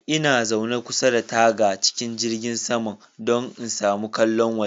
Ina zaune kusa da taga cikin jirgin saman, don in samu ƙallon waje.